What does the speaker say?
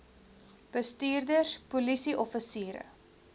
bestuurders polisie offisiere